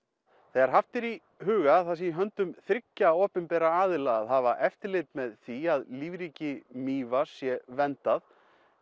þegar haft er í huga að það sé í höndum þriggja opinberra aðila að hafa eftirlit með því að lífríki Mývatns sé verndað